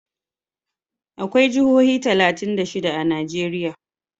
akwai Jihohi talatin da shida a Najeriya